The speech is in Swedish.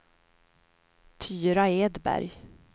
Tyra Edberg